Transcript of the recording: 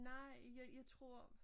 Nej jeg jeg tror